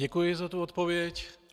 Děkuji za tu odpověď.